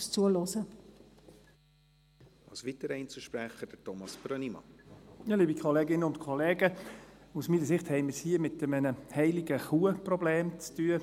Aus meiner Sicht haben wir es hier mit einem HeiligeKuh-Problem zu tun.